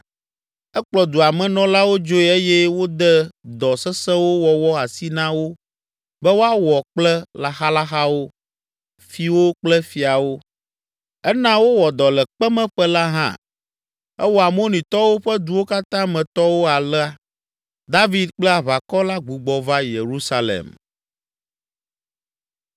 Ekplɔ dua me nɔlawo dzoe eye wode dɔ sesẽwo wɔwɔ asi na wo be woawɔ kple laxalaxawo, fiwo kple fiawo. Ena wowɔ dɔ le kpemeƒe la hã. Ewɔ Amonitɔwo ƒe duwo katã me tɔwo alea. David kple aʋakɔ la gbugbɔ va Yerusalem.